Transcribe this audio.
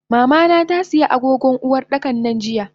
Mamana tasiya agogon Uwardakan nan jiya.